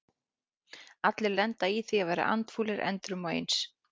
Allir lenda í því að vera andfúlir endrum og eins.